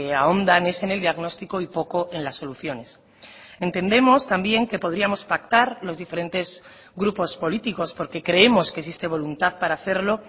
ahondan es en el diagnóstico y poco en las soluciones entendemos también que podríamos pactar los diferentes grupos políticos porque creemos que existe voluntad para hacerlo